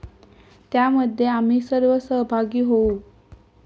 त्यामध्ये आम्ही सर्व सहभागी होऊ.